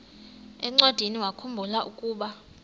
encwadiniwakhu mbula ukuba